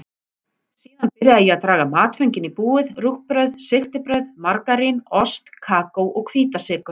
Síðan byrjaði ég að draga matföngin í búið: rúgbrauð, sigtibrauð, margarín, ost, kókó og hvítasykur.